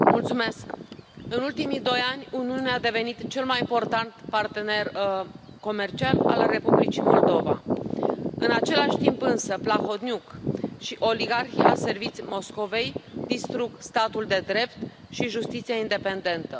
Domnule președinte, în ultimii doi ani, Uniunea a devenit cel mai important partener comercial al Republicii Moldova. În același timp însă, Plahotniuc și oligarhi aserviți Moscovei distrug statul de drept și justiția independentă.